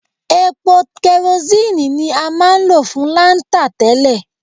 Epo kẹrosíìnì ni a máa ń lò fún láńtà tẹ́lẹ̀.